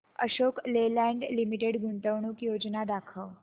Ashok Leyland Limited गुंतवणूक योजना दाखव